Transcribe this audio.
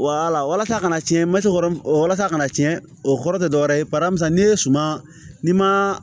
walasa a kana cɛn maco yɔrɔ walasa a kana tiɲɛ o kɔrɔ tɛ dɔwɛrɛ ye paramu sisan n'i ye suma ni ma